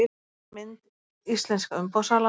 Mynd: Íslenska umboðssalan